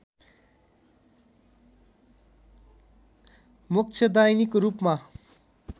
मोक्षदायिनीको रूपमा